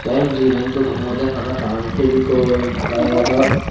the iben I dogan obode parapang fabicol packet o.